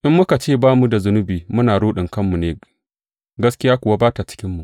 In muka ce ba mu da zunubi, muna ruɗin kanmu ne, gaskiya kuwa ba ta cikinmu.